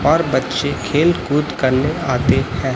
और बच्चे खेलकूद करने आते हैं।